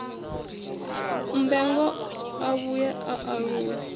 mmbengwa a vhuye a aluwe